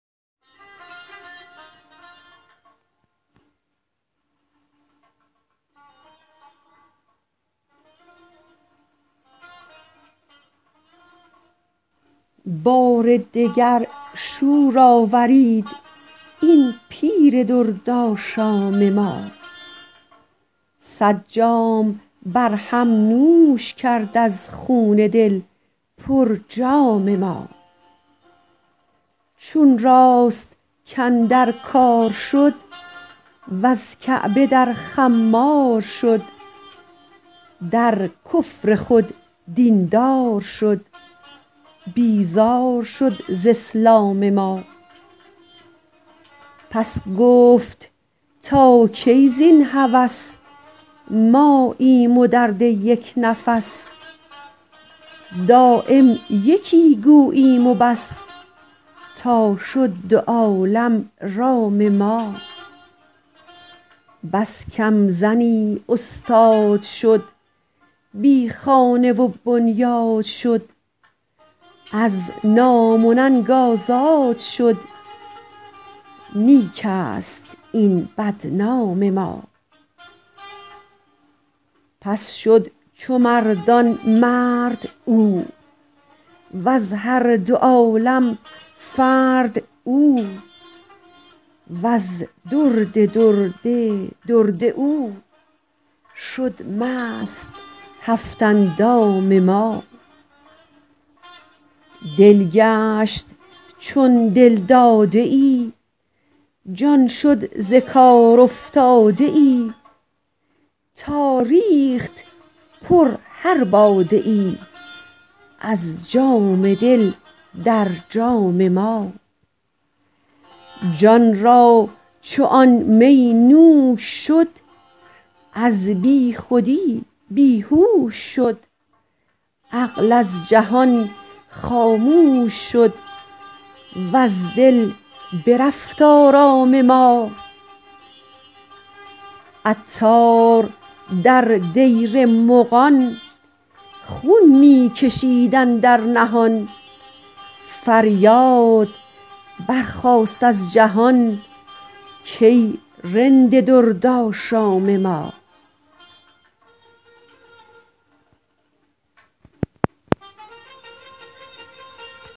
بار دگر شور آفرید این پیر درد آشام ما صد جام برهم نوش کرد از خون دل پر جام ما چون راست کاندر کار شد وز کعبه در خمار شد در کفر خود دین دار شد بیزار شد ز اسلام ما پس گفت تا کی زین هوس ماییم و درد یک نفس دایم یکی گوییم وبس تا شد دو عالم رام ما بس کم زنی استاد شد بی خانه و بنیاد شد از نام و ننگ آزاد شد نیک است این بدنام ما پس شد چو مردان مرد او وز هر دو عالم فرد او وز درد درد درد او شد مست هفت اندام ما دل گشت چون دلداده ای جان شد ز کار افتاده ای تا ریخت پر هر باده ای از جام دل در جام ما جان را چون آن می نوش شد از بی خودی بیهوش شد عقل از جهان خاموش شد و از دل برفت آرام ما عطار در دیر مغان خون می کشید اندر نهان فریاد برخاست از جهان کای رند درد آشام ما